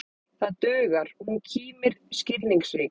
Það dugar, hún kímir skilningsrík.